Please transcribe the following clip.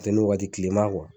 Funteni wagati kileman